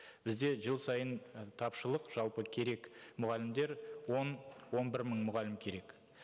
бізде жыл сайын тапшылық жалпы керек мұғалімдер он он бір мың мұғалім керек